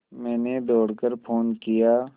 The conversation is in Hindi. मैंने दौड़ कर फ़ोन किया